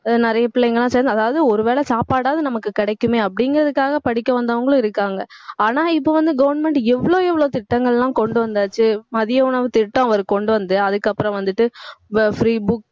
ஆஹ் நிறைய பிள்ளைங்க எல்லாம் சேர்ந்து அதாவது ஒரு வேளை சாப்பாடாவது நமக்கு கிடைக்குமே அப்படிங்கறதுக்காக படிக்க வந்தவங்களும் இருக்காங்க ஆனா இப்ப வந்து, government எவ்வளவு எவ்வளவு திட்டங்கள் எல்லாம் கொண்டு வந்தாச்சு மதிய உணவுத் திட்டம், அவர் கொண்டு வந்து அதுக்கப்புறம் வந்துட்டு ப~ free book